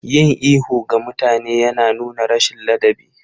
Yin ihu ga mutane yana nuna rashin ladabi.